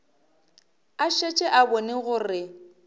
a šetše a bone gore